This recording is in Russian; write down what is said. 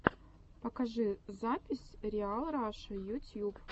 покажи запись риал раша ютьюб